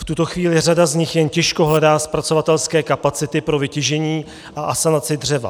V tuto chvíli řada z nich jen těžko hledá zpracovatelské kapacity pro vytěžení a asanaci dřeva.